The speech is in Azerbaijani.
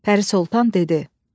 Pəri Sultan dedi: